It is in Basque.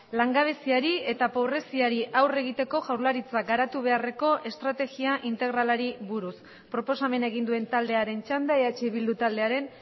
langabeziari eta pobreziari aurre egiteko jaurlaritzak garatu beharreko estrategia integralari buruz proposamena egin duen taldearen txanda eh bildu taldearen